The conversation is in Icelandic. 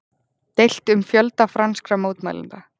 Deilt um fjölda franskra mótmælenda